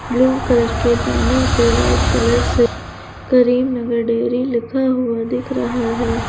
Blue colour के banner पे white colour से करीमनगर डेयरी लिखा हुआ दिख रहा है।